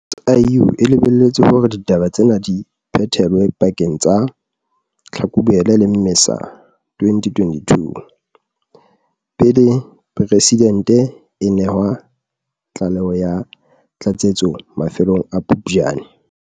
SIU e lebelletse hore ditaba tsena di phethelwe pakeng tsa Tlhakubele le Mmesa 2022, pele Preside nte a nehwa tlaleho ya tlatsetso mafelong a Phuptjane.